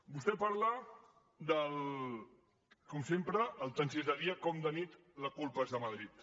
vostè parla com sempre que tant si és de dia com de nit la culpa és de madrid